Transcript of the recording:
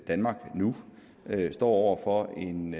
danmark nu står over for en